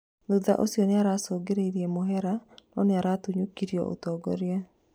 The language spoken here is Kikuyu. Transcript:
Thutha ũcio nĩaracongire mũhera no nĩaratunyũkithirio ũtongoria